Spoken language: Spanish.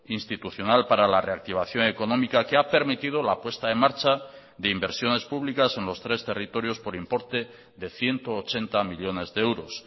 institucional para la reactivación económica que ha permitido la puesta en marcha de inversiones públicas en los tres territorios por importe de ciento ochenta millónes de euros